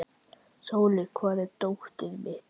Sóli, hvar er dótið mitt?